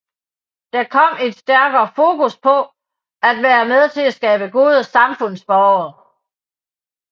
Der kom et stærkere fokus på at være med til at skabe gode samfundsborgere